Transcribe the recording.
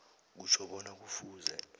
kutjho bona kufuze